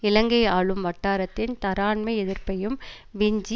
இலங்கை ஆளும் வட்டாரத்தின் தரான்மை எதிர்ப்பையும் விஞ்சி